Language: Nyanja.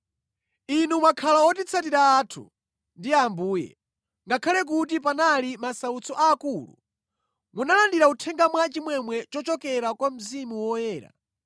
Inu mwakhala otitsatira athu ndi a Ambuye; ngakhale kuti panali masautso akulu, munalandira uthenga mwachimwemwe chochokera kwa Mzimu Woyera.